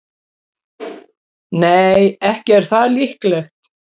Nei, ekki er það líklegt.